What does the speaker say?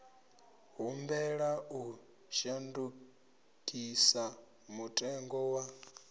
humbela u shandukisa mutengo wa